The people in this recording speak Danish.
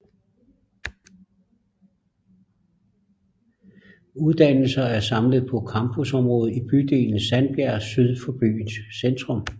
Uddannelser er samlet på campusområdet i bydelen Sandbjerg syd for byens centrum